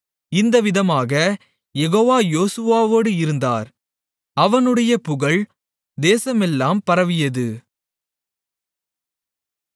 இந்தவிதமாகக் யெகோவா யோசுவாவோடு இருந்தார் அவனுடைய புகழ் தேசமெல்லாம் பரவியது